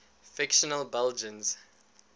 fictional belgians